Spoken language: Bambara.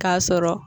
K'a sɔrɔ